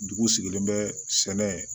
Dugu sigilen bɛ sɛnɛ